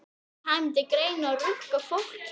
Kæmi til greina að rukka fólk hér?